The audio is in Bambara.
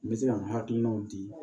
N bɛ se ka n hakilinaw di